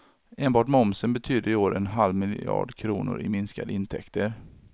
Enbart momsen betyder i år en halv miljard kronor i minskade intäkter.